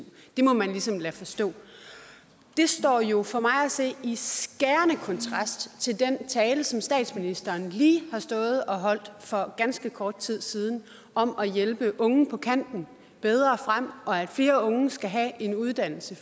det må man ligesom forstå det står jo for mig at se i skærende kontrast til den tale som statsministeren lige har stået og holdt for ganske kort tid siden om at hjælpe unge på kanten bedre frem og om at flere unge skal have en uddannelse